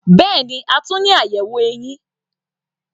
Bẹ́ẹ̀ni, a tún ní àyẹ̀wò eyín.